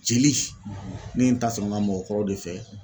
Jeli ne ye n ta sɔrɔ n ka mɔgɔkɔrɔ de fɛ